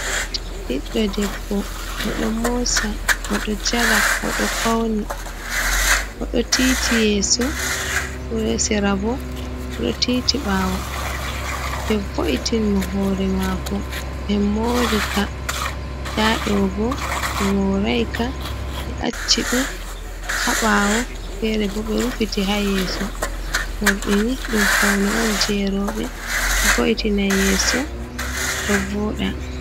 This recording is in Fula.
Biɗɗo ɗebbo. Oɗo mosa, oɗo jala. oɗo fauni. Oɗo tiiti yeso sera bo oɗo titi bawo be vo’itin mo hore mako be morika. Ɗaɗo bo be maraika be acci dum ha bawo fere bo be rufiti ha yeso. morɗini ɗum fauni on je robe. Ɗo vo’itina yeso ɗo voɗa.